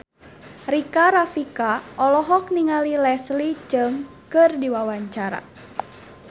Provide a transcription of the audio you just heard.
Rika Rafika olohok ningali Leslie Cheung keur diwawancara